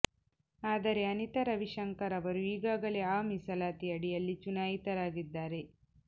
ಆದರೆ ಅನಿತಾ ರವಿಶಂಕರ್ ಅವರು ಈಗಾಗಲೇ ಆ ಮೀಸಲಾತಿ ಅಡಿಯಲ್ಲಿ ಚುನಾಯಿತರಾಗಿದ್ದಾರೆ